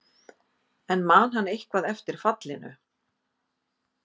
En man hann eitthvað eftir fallinu?